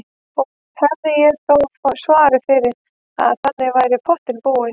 Og hefði ég þó svarið fyrir að þannig væri í pottinn búið.